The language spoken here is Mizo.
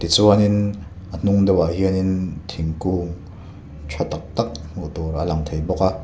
tichuanin a hnung deuhah hianin thingkung ṭha tâk tâk hmuh tur a lang thei bawk a.